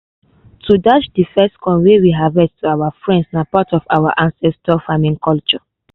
to dash de first corn wey we harvest to our friends na part of our ancestors farming culture